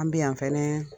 An bɛ yan fɛnɛ